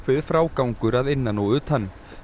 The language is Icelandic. frágangur að innan og utan